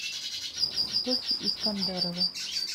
тохи искандарова